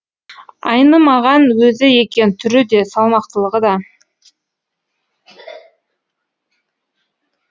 айнымаған өзі екен түрі де салмақтылығы да